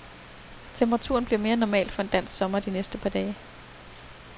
Temperaturen bliver mere normal for en dansk sommer de næste par dage.